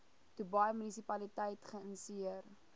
dubai munisipaliteit geïnisieer